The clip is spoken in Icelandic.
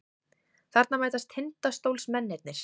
Þarna mætast Tindastólsmennirnir.